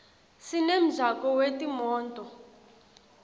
sinemjako wetimoto